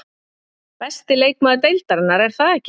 Besti leikmaður deildarinnar, er það ekki?